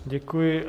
Děkuji.